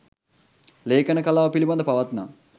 ලේඛන කලාව පිළිබඳ පවත්නා